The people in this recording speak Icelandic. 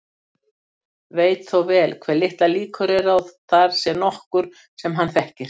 Veit þó vel hve litlar líkur eru á að þar sé nokkur sem hann þekkir.